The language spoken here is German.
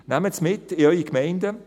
Nehmen Sie es mit in eure Gemeinden.